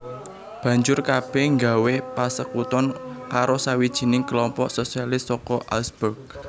Banjur kabèh nggawé pasekuton karo sawijining kelompok sosialis saka Augsburg